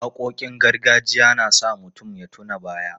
Waƙoƙin gargajiya na sa mutum ya tuna baya.